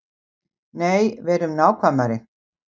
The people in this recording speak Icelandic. Nei, verum nákvæmari.